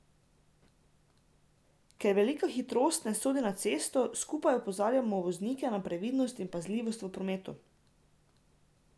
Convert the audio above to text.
Ker velika hitrost ne sodi na cesto, skupaj opozarjamo voznike na previdnost in pazljivost v prometu.